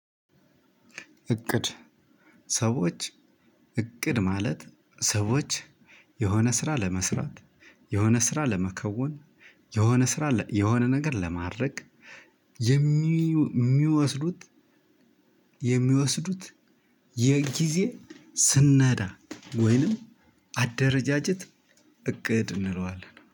እቅድ ሰዎች እቅድ ማለት ሰዎች የሆነ ስራ ለመስራት የሆነ ስራ ለመከወን የሆነ ስራ ነገር ለማድረግ የሚ የሚወስዱት የሚወስዱት የጊዜ ስነዳ ወይንም አደረጃጀት እቅድ እንለዋለን